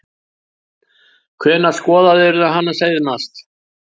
Hvenær skoðaðirðu hana seinast?